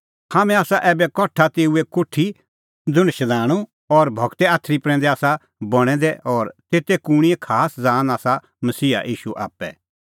हाम्हैं आसा ऐबै कठा तेऊए कोठी ज़ुंण शधाणूं और गूरे आथरी प्रैंदै आसा बणैं दै और तेते कूणींए खास ज़ान आसा मसीहा ईशू आप्पै